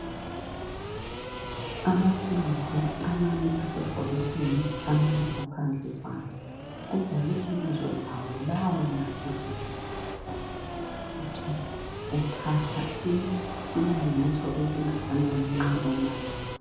Amaphilisi amanye asebhokisini amanye aphandle kwalo obhalwe ibizo lawo lawamaphilisi ukuthi uthatha isilinganiso esingakanani nxa unatha.